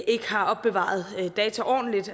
ikke har opbevaret data ordentligt